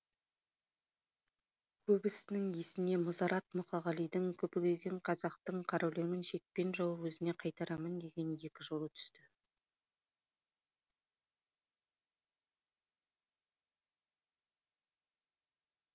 көбісінің есіне мұзарт мұқағалидың күпі киген қазақтың қара өлеңін шекпен жауып өзіне қайтарамын деген екі жолы түсті